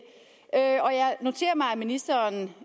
noterer mig at ministeren